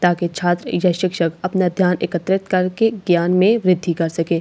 ताकि छात्र या शिक्षक अपना ध्‍यान एकत्रित करके ज्ञान में बृद्धि कर सकें यहां --